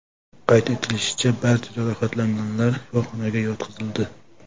Qayd etilishicha, barcha jarohatlanganlar shifoxonaga yotqizildi.